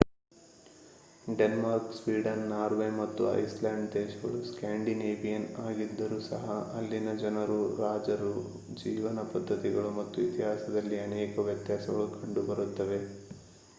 Denmark Sweden Norway ಮತ್ತು Iceland ದೇಶಗಳು 'Scandinavian' ಆಗಿದ್ದರೂ ಸಹ ಅಲ್ಲಿನ ಜನರು ರಾಜರು ಜೀವನ ಪದ್ಧತಿಗಳು ಮತ್ತು ಇತಿಹಾಸದಲ್ಲಿ ಅನೇಕ ವ್ಯತ್ಯಾಸಗಳು ಕಂಡುಬರುತ್ತವೆ